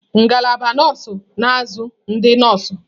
Ngalaba nọọsụ na-azụ ndị nọọsụ.